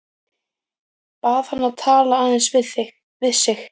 Bað hann að tala aðeins við sig.